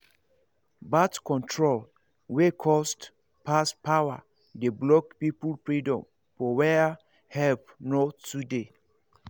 birth control wey cost pass power dey block people freedom for where help no too dey